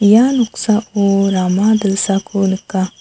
ia noksao rama dilsako nika.